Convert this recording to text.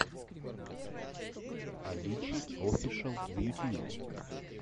авичи офишел в ютьюбе